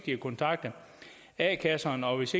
har kontaktet a kasserne og hvis